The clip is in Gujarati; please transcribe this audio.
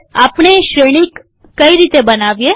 આપણે શ્રેણિક કઈ રીતે બનાવીએ